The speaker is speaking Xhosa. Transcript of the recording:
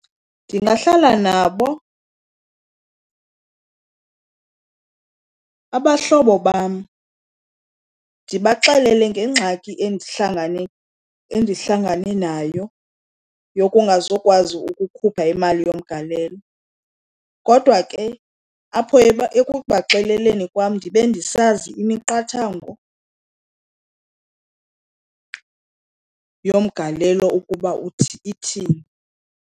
Ndingahlala nabo abahlobo bam ndibaxelele ngengxaki endihlangane nayo yokungazukwazi ukukhupha imali yomgalelo. Kodwa ke apho ekubaxeleleni kwam ndibe ndisazi imiqathango yomgalelo ukuba ithini.